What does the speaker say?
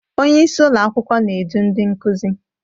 Onye isi ụlọ akwụkwọ na-edu ndị nkuzi.